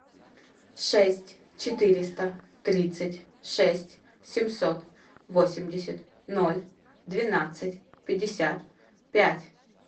шесть четыреста тридцать шесть семьсот восемьдесят ноль двенадцать пятьдесят пять